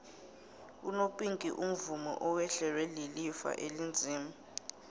unopinki umvumi owehlelwa lilifa elinzima